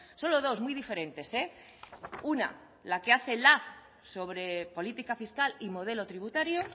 solo dos muy diferentes una la que hace lab sobre política fiscal y modelo tributario